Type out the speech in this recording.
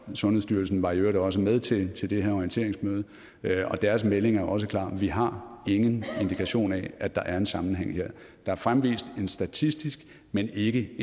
sundhedsstyrelsen var i øvrigt også med til til det her orienteringsmøde og deres melding er også klar vi har ingen indikation af at der er en sammenhæng her der er fremvist en statistisk men ikke